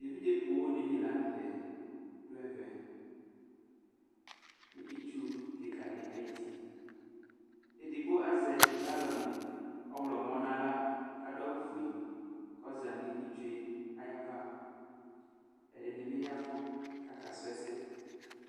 Evidze pó dini la nu tɛ dù ɛvɛ, nu itsu kika di ayi uti, edigbo azɛ galɔni ɔwlɔ̃mɔ n'aɣla k'adu awù fue k'ɔza nu itsue ayi ava, ɛdini bi yavù k'aka suɛsɛ